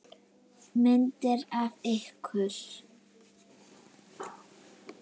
Myndir af ykkur.